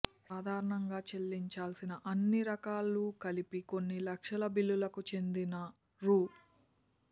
సాధారణంగా చెల్లించాల్సిన అన్ని రకాలు కలిపి కొన్ని లక్షల బిల్లులకు చెందిన రూ